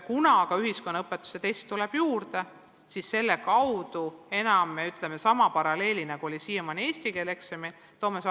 Kuna ühiskonnaõpetuse tekst tuleb juurde, siis me tekitame sama paralleeli, kui oli siiamaani eesti keele eksami puhul.